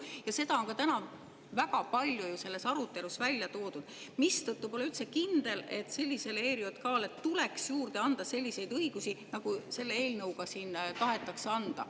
Ja seda on ka täna väga palju selles arutelus välja toodud, mistõttu pole üldse kindel, et sellisele ERJK‑le tuleks juurde anda selliseid õigusi, nagu selle eelnõuga siin tahetakse anda.